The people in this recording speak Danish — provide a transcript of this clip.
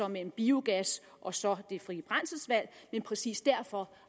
mellem biogas og så det frie brændselsvalg men præcis derfor